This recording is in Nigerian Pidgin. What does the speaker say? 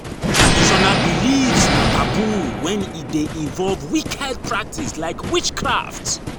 Traditional beliefs na taboo when e de involve wicked practice like witchcraft